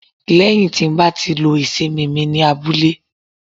lẹyìn ti ba lo ìsimi mí ní abúlé